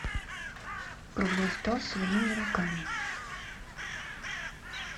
круглый стол своими руками